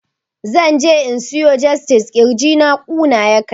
Zan je in siyo jestid, ƙirjina ƙuna yake